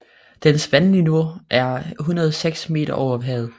Dens vandniveau er 106 meter over havet